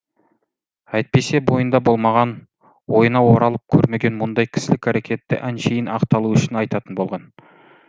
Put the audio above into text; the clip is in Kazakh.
әйтпесе бойында болмаған ойына оралып көрмеген мұндай кісілік әрекетті әншейін ақталу үшін айтатын болған